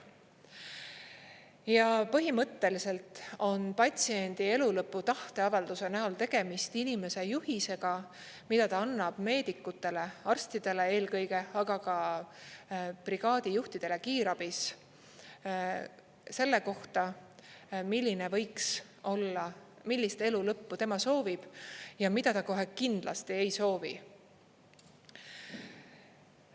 Ja põhimõtteliselt on patsiendi elulõpu tahteavalduse näol tegemist inimese juhisega, mida ta annab meedikutele, arstidele, eelkõige aga ka brigaadijuhtidele kiirabis selle kohta, milline võiks olla, millist elu lõppu tema soovib ja mida ta kohe kindlasti ei soovi.